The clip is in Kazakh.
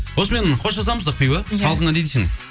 осымен қоштасамыз ақбибі иә халқыңа не дейсің